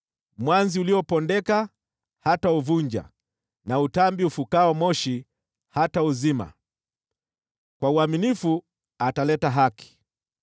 Mwanzi uliopondeka hatauvunja, na utambi unaofuka moshi hatauzima. Kwa uaminifu ataleta haki,